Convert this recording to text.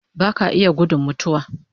Baka iya gudun mutuwa